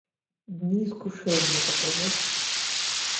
дни искушения покажи